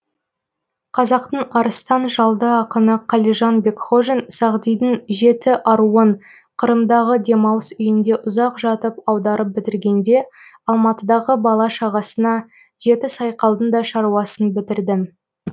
қазақтың арыстан жалды ақыны қалижан бекхожин сағдидың жеті аруын қырымдағы демалыс үйінде ұзақ жатып аударып бітіргенде алматыдағы бала шағасына жеті сайқалдың да шаруасын бітірдім